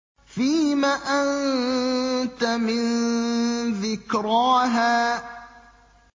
فِيمَ أَنتَ مِن ذِكْرَاهَا